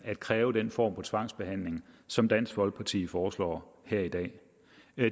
at kræve den form for tvangsbehandling som dansk folkeparti foreslår her i dag